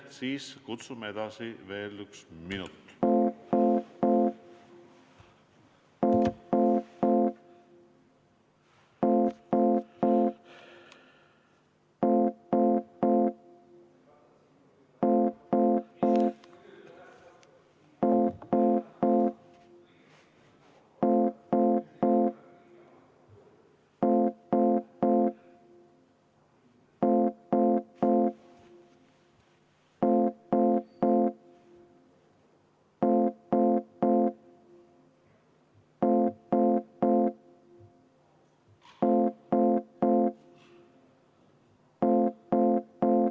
Siis kutsume edasi veel ühe minuti.